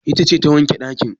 Ita ce ta wanke ɗakin?